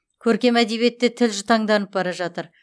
көркем әдебиетте тіл жұтаңданып бара жатыр